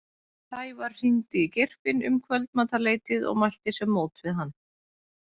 Sævar hringdi í Geirfinn um kvöldmatarleytið og mælti sér mót við hann.